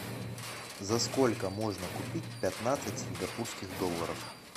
за сколько можно купить пятнадцать сингапурских долларов